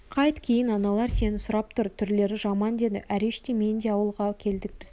қайт кейін аналар сені сұрап тұр түрлері жаман деді әреш те мен де ауылға келдік біздің